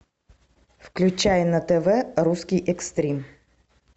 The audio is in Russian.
включай на тв русский экстрим